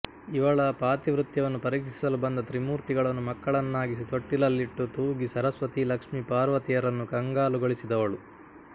ಇವಳ ಪಾತಿವ್ರತ್ಯವನ್ನು ಪರೀಕ್ಷಿಸಲು ಬಂದ ತ್ರಿಮೂರ್ತಿಗಳನ್ನು ಮಕ್ಕಳನ್ನಾಗಿಸಿ ತೊಟ್ಟಿಲಲ್ಲಿಟ್ಟು ತೂಗಿ ಸರಸ್ವತಿ ಲಕ್ಷ್ಮೀ ಪಾರ್ವತಿಯರನ್ನು ಕಂಗಾಲುಗೊಳಿಸಿದವಳು